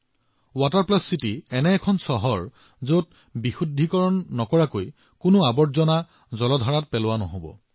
water plus city এনে এখন চহৰ যত কোনো ৰাজহুৱা পানীৰ উৎসত কোনো নৰ্দমা শোধন নকৰাকৈ বোৱাই দিয়া নহয়